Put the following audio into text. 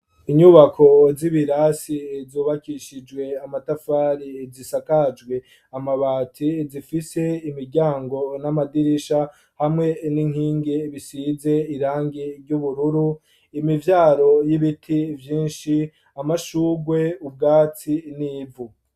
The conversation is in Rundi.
Inyubako z'ibirasi zubakishijwe amatafari zisakajwe amabati zifise imiryango n'amadirisha hamwe n'inkingi bisize irangi ry'ubururu imivyaro y'ibiti byinshi amashugwe ubwasti n'ivu.